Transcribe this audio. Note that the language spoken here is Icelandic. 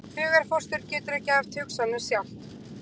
Hugarfóstur getur ekki haft hugsanir sjálft.